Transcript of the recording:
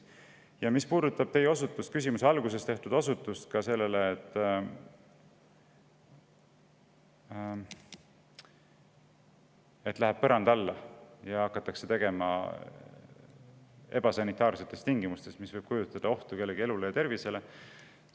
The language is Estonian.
Küsimuse alguses te osutasite sellele, et läheb põranda alla ja neid hakatakse tegema ebasanitaarsetes tingimustes, mis võib kujutada ohtu kellegi elule ja tervisele.